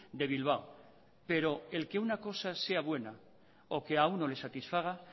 de bilbao pero el que una cosa sea buena o que a uno le satisfaga